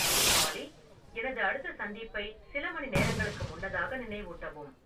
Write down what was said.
ஆல்லி எனது அடுத்த சந்திப்பை சில மணிநேரங்களுக்கு முன்னதாக நினைவூட்டுவும்